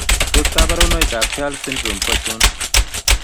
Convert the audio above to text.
Tos kabarunoik ab Char syndrome Ko achon